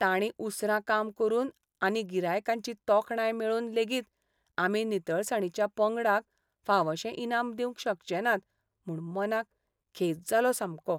ताणीं उसरां काम करून आनी गिरायकांची तोखणाय मेळोवन लेगीत आमी नितळसाणीच्या पंगडाक फावशें इनाम दिवंक शकचे नात म्हूण मनाक खेद जालो सामको